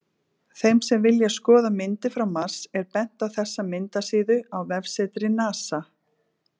Þeim sem vilja skoða myndir frá Mars er bent á þessa myndasíðu á vefsetri NASA.